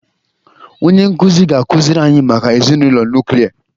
Onye nkụzi ga-akụziri anyị maka ezinụlọ nuklia